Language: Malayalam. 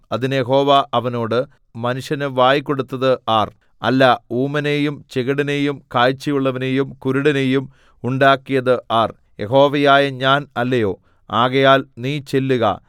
അതിന് യഹോവ അവനോട് മനുഷ്യന് വായ് കൊടുത്തത് ആർ അല്ല ഊമനെയും ചെകിടനെയും കാഴ്ചയുള്ളവനെയും കുരുടനെയും ഉണ്ടാക്കിയത് ആർ യഹോവയായ ഞാൻ അല്ലയോ ആകയാൽ നീ ചെല്ലുക